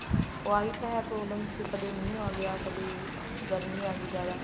ਆਹੀ ਤਾਂ ਹੈ problem ਵੀ ਕਦੇ ਮੀਂਹ ਆ ਗਿਆ ਕਦੇ ਗਰਮੀ ਆ ਗਈ ਜਿਆਦਾ